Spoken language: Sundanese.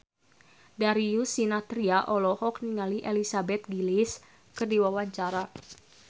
Darius Sinathrya olohok ningali Elizabeth Gillies keur diwawancara